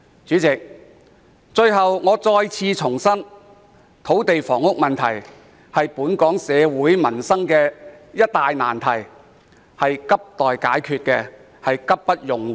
主席，最後，我希望再次重申，土地和房屋問題是本港民生的一大難題，急需解決，而且刻不容緩。